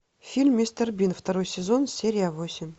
фильм мистер бин второй сезон серия восемь